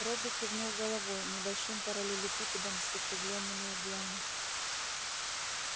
робби кивнул головой небольшим параллелепипедом с закруглёнными углами